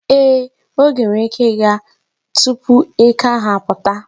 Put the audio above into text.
Ee, oge nwere ike ịga mgbe Eke tupu eke ahụ apụta.